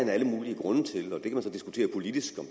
alle mulige grunde til og man kan så diskutere politisk om